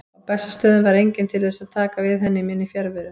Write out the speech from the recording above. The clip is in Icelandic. Á Bessastöðum var enginn til þess að taka við henni í minni fjarveru.